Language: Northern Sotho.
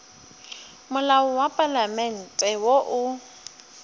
molao wa palamente wo o